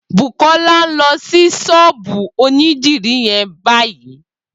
Bukola n lọ si ṣọ́ọ̀bù ónìdìrí yèn bàyí